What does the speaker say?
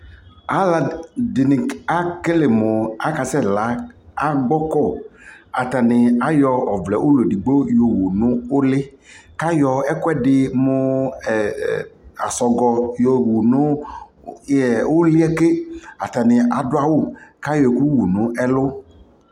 alʋɛdini ɛkɛlɛ mʋ atani asɛ la agbɔkɔ, atani ayɔ ɔvlɛ ʋlɔ ɛdigbɔ yɔwʋ nʋ ʋli kʋ ayɔ ɛkʋɛdi mʋ asɔgɔ yɔwʋ nʋ ʋliɛ kɛ atani adʋ awʋ kʋ ayɔbɛkʋ wʋ nʋ ɛlʋ